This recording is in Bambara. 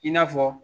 I n'a fɔ